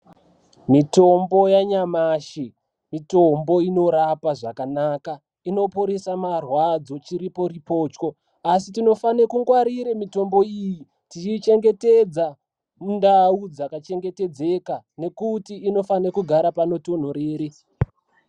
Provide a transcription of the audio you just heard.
Mitombo yanyamashi mitombo inorapa zvakanaka inoporesa marwadzo chiriporipochwo asi tinofane kungwarire mitombo iyi tichiichengetedza mundau dzakachengetedzeka nekuti inofanhe kugara mundau dzakatonhorere.